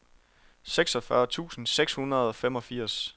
seksogfyrre tusind seks hundrede og femogfirs